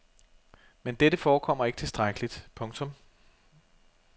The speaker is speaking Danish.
Men dette forekommer ikke tilstrækkeligt. punktum